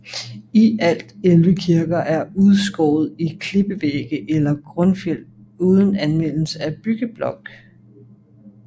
I alt 11 kirker er udskåret i klippevægge eller grundfjeld uden anvendelse af byggeblokke